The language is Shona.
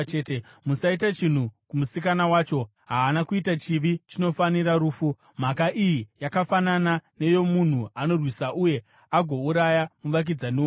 Musaita chinhu kumusikana wacho; haana kuita chivi chinofanira rufu. Mhaka iyi yakafanana neyomunhu anorwisa uye agouraya muvakidzani wake.